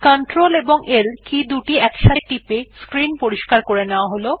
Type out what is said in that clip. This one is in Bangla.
সুবিধার জন্য CltL একসাথে টিপে স্ক্রিন পরিস্কার করে নেওয়া যাক